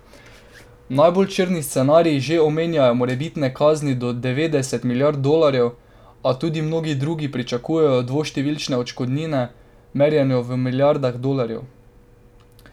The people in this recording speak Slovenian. Najbolj črni scenariji že omenjajo morebitne kazni do devetdeset milijard dolarjev, a tudi mnogi drugi pričakujejo dvoštevilčne odškodnine, merjeno v milijardah dolarjev.